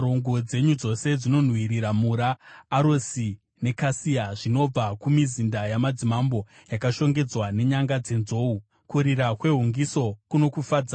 Nguo dzenyu dzose dzinonhuwirira mura, arosi nekasia, zvinobva kumizinda yamadzimambo yakashongedzwa nenyanga dzenzou, kurira kwehungiso kunokufadzai.